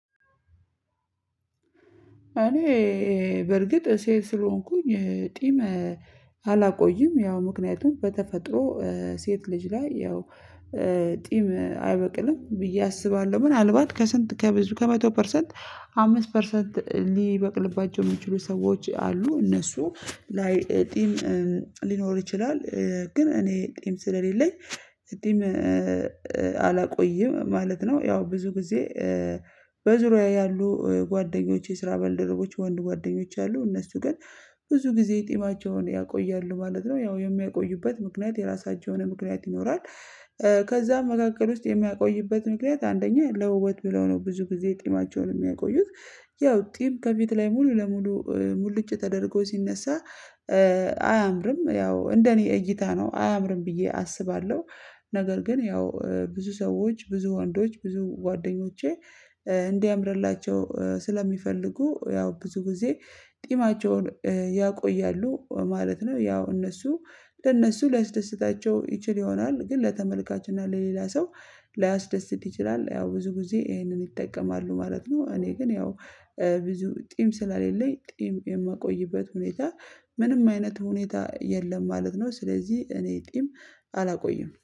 እኔ በርግጥ ስለሆንኩኝ ጢም አላቆይም ያው ምክንያቱም በተፈጥሮ ሴት ልጅ ላይ ያው ጢም አይበቅልም ብዬ አስባለሁ ምናልባት ከስንት ከበዙ ከመቶ ፐርሰንት አምስት ፐርሰንት ሊበቅልባቸው የሚችሉ ሰዎች አሉ እነሱ ላይ ጢም ሊኖር ይችላል ግን እኔ ጢም ስለሌለኝ ጢም አላቆይም ማለት ነው። ያው ብዙ ጊዜ በዙሪያዬ ያሉ ጓደኞች የስራ በልደረቦች ወንድ ጓደኞች አሉ እነሱ ግን ብዙ ጊዜ ጢማቸውን ያቆያሉ ማለት ነው ያው የሚያቆዩበት ምክንያት የራሳቸውን ምክንያት ይኖራል። ከዛም መካከል ውስጥ የሚያቆይበት ምክንያት አንደኛ ለውበት ብለው ነው ብዙ ጊዜ ጢማቸውን የሚያቆዩት ያው ጢም ከፊት ላይ ሙሉ ለሙሉ ሙሉጭ ተደርጎ ሲነሳ አያምርም ያው እንደኔ እይታ ነው አያምርም ብዬ አስባለሁ። ነገር ግን ያው ብዙ ሰዎች ብዙ ወንዶች ብዙ ጓደኞቼ እንዲያምርላቸው ስለሚፈልጉ ያው ብዙ ጊዜ ጢማቸውን ያቆያሉ ማለት ነው። ያው እነሱ ለእነሱ ሊያስደስታቸው ይችል ይሆናል ግን ለተመልካች እና ለሌላ ሰው ላያስደስት ይችላል። ያው ብዙ ጊዜ ይሄንን ይጠቀማሉ ማለት ነው እኔ ግን ያው ብዙ ጢም ስለሌለኝ ጢም የማቆይበት ሁኔታ ምንም አይነት ሁኔታ የለም ማለት ነው። ስለዚህ እኔ ጢም አላቆይም